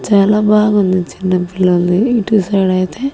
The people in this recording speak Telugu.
చాలా బాగుంది చిన్న పిల్లొలది ఇటు సైడ్ ఐతే.